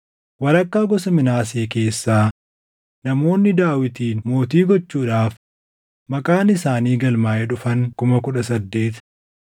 walakkaa gosa Minaasee keessaa namoonni Daawitin mootii gochuudhaaf maqaan isaanii galmaaʼee dhufan 18,000;